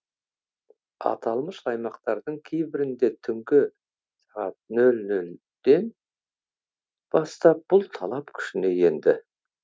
аталмыш аймақтардың кейбірінде түнгі сағат нөл нөлден бастап бұл талап күшіне енді